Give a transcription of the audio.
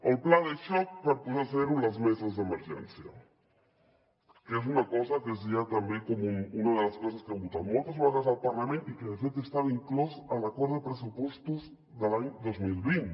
el pla de xoc per posar a zero les meses d’emergència que és una cosa que és ja també com una de les coses que hem votat moltes vegades al parlament i que de fet estava inclòs a l’acord de pressupostos de l’any dos mil vint